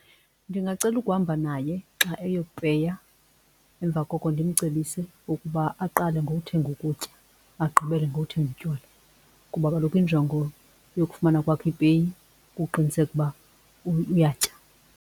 Ndingacela ukuhamba naye xa eyopeya emva koko ndimcebise ukuba aqale ngokuthenga ukutya agqibele ngokuthenga utywala kuba kaloku injongo yokufumana kwakhe ipeyi kukuqiniseka uba uyatyala.